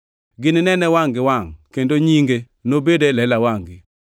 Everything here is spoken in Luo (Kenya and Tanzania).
Gininene wangʼ gi wangʼ kendo nyinge nobed e lela wangʼ-gi.